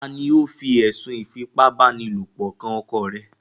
Ta ni ó fi ẹ̀sùn ìfipá báni lòpọ̀ kan ọkọ rẹ̀?